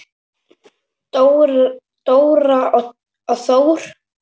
Dóra og Þór.